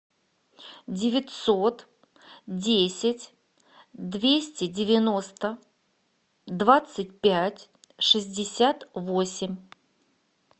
девятьсот десять двести девяносто двадцать пять шестьдесят восемь